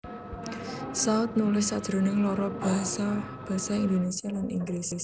Saut nulis sajroning loro basa Basa Indonesia lan Inggris